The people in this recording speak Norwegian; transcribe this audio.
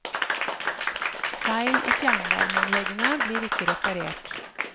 Feil i fjernvarmeanleggene blir ikke reparert.